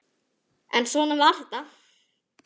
En svona var þetta.